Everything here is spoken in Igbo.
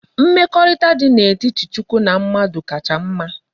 Mmekorita di na etiti chukwu na mmadu kacha mma